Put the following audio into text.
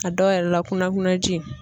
A dɔw yɛrɛ la kunakunanji.